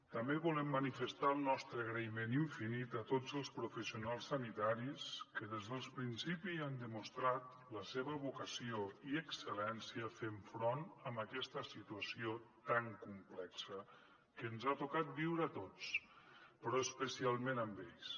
també volem manifestar el nostre agraïment infinit a tots els professionals sanitaris que des del principi han demostrat la seva vocació i excel·lència fent front a aquesta situació tan complexa que ens ha tocat viure a tots però especialment a ells